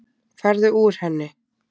Farðu úr henni.